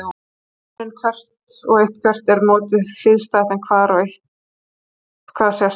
Fornöfnin hvert og eitthvert eru notuð hliðstætt en hvað og eitthvað sérstætt.